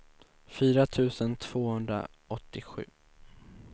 fyra tusen tvåhundraåttiosju